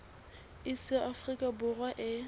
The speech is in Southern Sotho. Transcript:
iss ya afrika borwa e